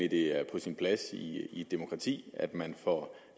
at det er på sin plads i et demokrati at man får